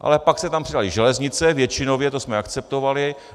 Ale pak se tam přidaly železnice, většinově, to jsme akceptovali.